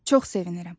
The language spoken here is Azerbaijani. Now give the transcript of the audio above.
Çox sevinirəm.